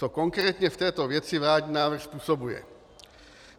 Co konkrétně v této věci vládní návrh způsobuje?